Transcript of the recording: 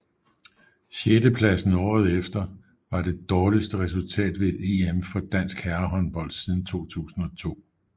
Sjettepladsen året efter var det dårligste resultat ved et EM for dansk herrehåndbold siden 2002